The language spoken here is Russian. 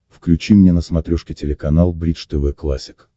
включи мне на смотрешке телеканал бридж тв классик